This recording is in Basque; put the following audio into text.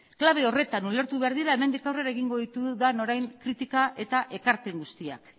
klabe horretan ulertu behar dira hemendik aurrera egingo ditudan orain kritika eta ekarpen guztiak